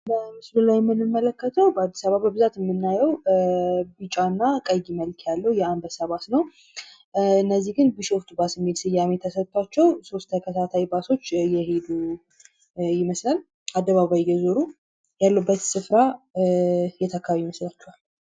በምስሉ ላይ የምንመለከተው በአዲስ አበባ በጣም በብዛት የምናየው ቢጫ እና ቀይ ቀለም ያለዉ የአንበሳ ባስን ነው ፤ እነዚህ ግን ቢሾፍቱ ባስ የሚል ስያሜ ተሰጥቶአቸው ሶስት ተከታታይ ባሶች እየሀዱ ይመስላል አደባባይ እየዞሩ ያሉበት ስፍራ የት አከባቢ ይመስላችኋል?